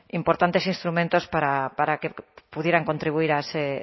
importantes instrumentos para que pudieran contribuir a ese